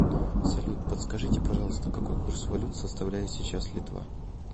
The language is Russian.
салют подскажите пожалуйста какой курс валют составляет сейчас литва